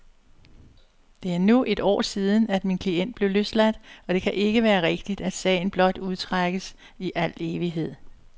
Det er nu et år siden, at min klient blev løsladt, og det kan ikke være rigtigt, at sagen blot udstrækkes i al evighed.